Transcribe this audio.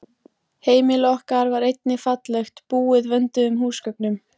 Heimili okkar var einnig fallegt, búið vönduðum húsgögnum.